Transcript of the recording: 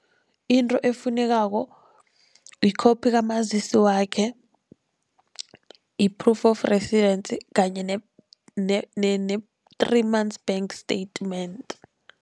Into efunekako i-copy kamazisi wakhe, yi-proof of residence kanye ne-three months bank statement.